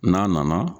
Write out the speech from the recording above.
N'a nana